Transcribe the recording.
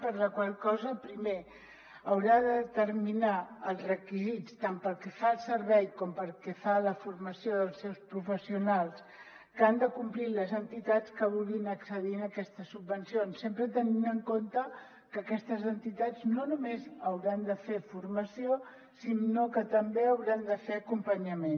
per la qual cosa pri·mer haurà de determinar els requisits tant pel que fa al servei com pel que fa a la formació dels seus professionals que han de complir les entitats que vulguin acce·dir a aquestes subvencions sempre tenint en compte que aquestes entitats no només hauran de fer formació sinó que també hauran de fer acompanyament